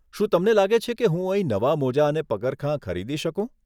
શું તમને લાગે છે કે હું અહીં નવા મોજાં અને પગરખાં ખરીદી શકું?